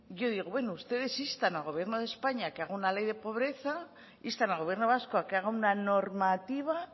yo digo bueno ustedes instan al gobierno de españa a que haga una ley de pobreza instan al gobierno vasco a que haga una normativa